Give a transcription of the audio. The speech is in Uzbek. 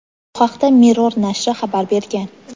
Bu haqda "Mirror" nashri xabar bergan.